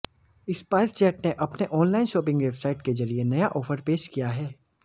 spice jet ने अपने online shopping website के जरिए नया ऑफर पेश किया है